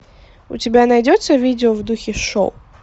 у тебя найдется видео в духе шоп